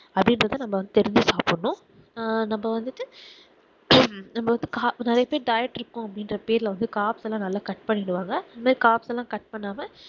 அப்புடிங்குரத நம்ம தெரிஞ்சு சாப்பிடனும் ஆஹ் நம்ம வந்துட்டு நம்ம வந்து கார நறைய பேர் diet இருக்கோம் அப்பிடின்குற பேருல வந்து காரத்தலாம் நல்லா cut பண்ணிருவாங்க காரத்தலாம் cut பண்ணாம